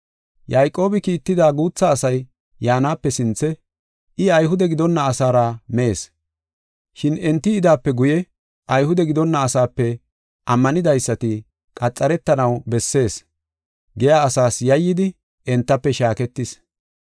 Yayqoobi kiitida guutha asay yaanape sinthe I Ayhude gidonna asaara mees, shin enti yidaape guye, “Ayhude gidonna asaape ammanidaysati qaxaretanaw bessees” giya asaas yayyidi entafe shaaketis.